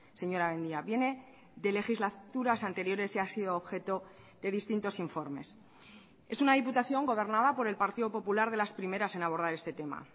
señora mendia viene de legislaturas anteriores y ha sido objeto de distintos informes es una diputación gobernada por el partido popular de las primeras en abordar este tema